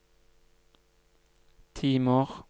timer